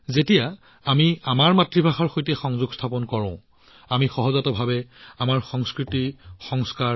যেতিয়া আমি আমাৰ মাতৃভাষাৰ লগত সংযোগ স্থাপন কৰো তেতিয়া আমি স্বয়ংক্ৰিয়ভাৱে আমাৰ সংস্কৃতিৰ লগত সংযোগ স্থাপন কৰো